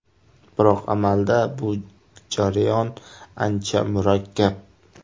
Biroq amalda bu jarayon ancha murakkab.